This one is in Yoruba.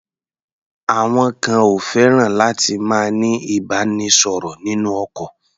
Àwọn kan ò fẹ́ràn láti máa ní ìbánisọ̀rọ̀ nínú ọkọ̀.